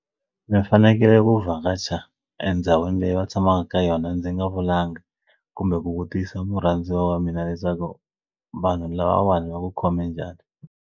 Mi fanekele ku vhakacha endhawini leyi va tshamaka ka yona ndzi nga vulanga kumbe ku vutisa murhandziwa wa mina leswaku vanhu lava va vanhu va ku khome njhani.